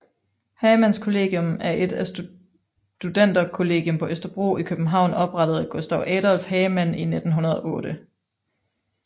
Hagemanns Kollegium er et studenterkollegium på Østerbro i København oprettet af Gustav Adolph Hagemann i 1908